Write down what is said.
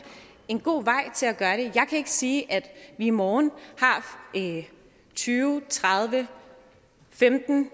en god vej til at gøre det jeg kan ikke sige at vi i morgen har tyve tredive femten